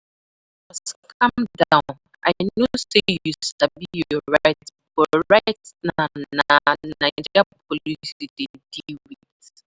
Bros calm down, I know say you sabi your right but right but na Naija police you dey deal with